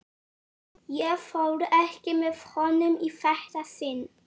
Ég fór ekki með honum í þetta sinn.